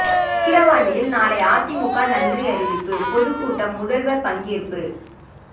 விக்கிரவாண்டியில் நாளை அதிமுக நன்றி அறிவிப்பு பொதுக் கூட்டம் முதல்வா் பங்கேற்பு